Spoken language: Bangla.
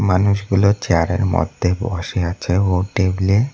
মানুষগুলো চেয়ার -এর মদ্যে বসে আছে ও টেবিল -এ--